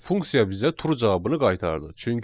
Funksiya bizə true cavabını qaytardı.